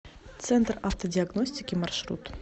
центр автодиагностики маршрут